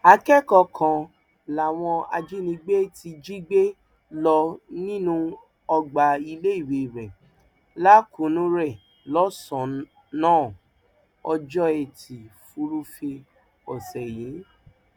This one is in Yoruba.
akẹkọọ kan làwọn ajìnigbé ti jí gbé lọ nínú ọgbà iléèwé rẹ lakunure lọsànán ọjọ etí furuufee ọsẹ yìí